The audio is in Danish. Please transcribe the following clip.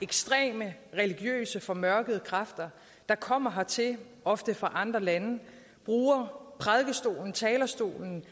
ekstreme religiøse formørkede kræfter der kommer hertil ofte fra andre lande der bruger prædikestolen talerstolen